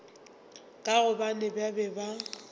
ka gobane ba be ba